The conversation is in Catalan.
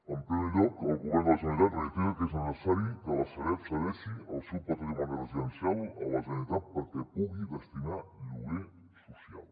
en primer lloc el govern de la generalitat reitera que és necessari que la sareb cedeixi el seu patrimoni residencial a la generalitat perquè el pugui destinar a lloguer social